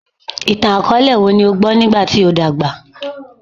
Itan-akọọlẹ wo ni o gbọ nigba ti o dagba?